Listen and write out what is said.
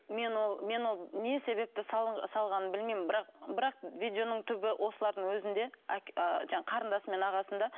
мен ол мен ол не себепті салғанын білмеймін бірақ бірақ видеоның түбі осылардың өзінде а жаңағы қарындасы мен ағасында